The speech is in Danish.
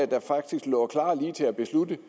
der faktisk lå klar til at beslutte